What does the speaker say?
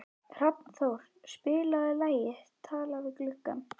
Hrafnþór, spilaðu lagið „Talað við gluggann“.